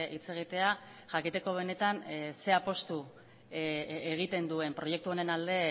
hitz egitea jakiteko benetan zer apustu egiten duen proiektu honen alde